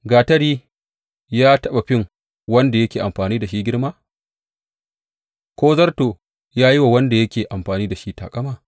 Gatari ya taɓa fin wanda yake amfani da shi girma, ko zarto yă yi wa wanda yake amfani da shi taƙama?